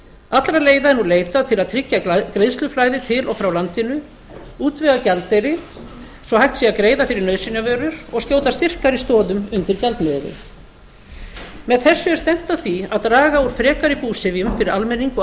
allra leiða er nú leitað til að tryggja greiðsluflæði til og frá landinu útvega gjaldeyri svo að hægt hvað greiða fyrir nauðsynjavörur og skjóta styrkari stoðum undir gjaldmiðilinn með þessu er stefnt að því að draga úr frekari búsifjum fyrir almenning og